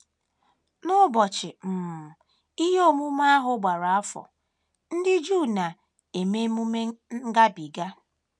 N’ụbọchị um ihe omume ahụ gbara afọ, ndị Juu na - eme Ememe Ngabiga.